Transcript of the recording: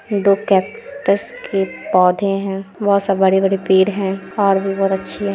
दो कैक्टस के पौधे हैं बहोत से बड़े-बड़े पेड़ है और भी बहुत अच्छे है--